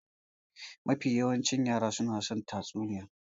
Mafi yawancin yara suna son tatsuniyoyi.